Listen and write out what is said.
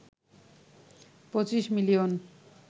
২৫ million